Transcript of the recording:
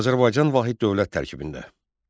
Azərbaycan vahid dövlət tərkibində.